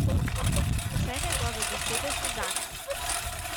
Vse njegove besede so zanjo.